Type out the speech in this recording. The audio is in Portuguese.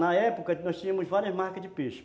Na época, nós tínhamos várias marcas de peixe.